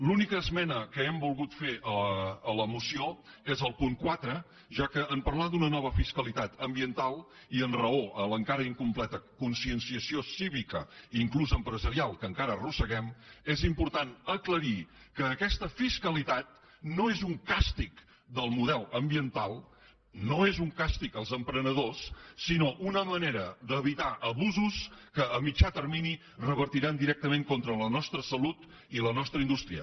l’única esmena que hem volgut fer a la moció és el punt quatre ja que en parlar d’una nova fiscalitat ambiental i en raó a la encara incompleta conscienciació cívica fins i tot empresarial que encara arrosseguem és important aclarir que aquesta fiscalitat no és un càstig del model ambiental no és un càstig als emprenedors sinó una manera d’evitar abusos que a mitjà termini revertiran directament contra la nostra salut i la nostra indústria